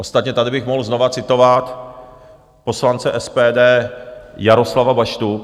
Ostatně tady bych mohl znovu citovat poslance SPD Jaroslava Baštu.